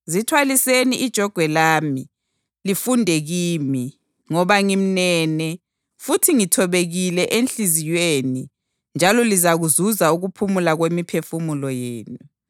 Zithwaliseni ijogwe lami, lifunde kimi, ngoba ngimnene futhi ngithobekile enhliziyweni njalo lizazuza ukuphumula kwemiphefumulo yenu.